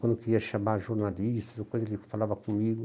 Quando eu queria chamar jornalistas, e coisa, ele falava comigo.